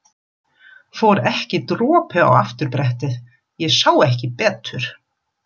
Fór ekki dropi á afturbrettið. ég sá ekki betur!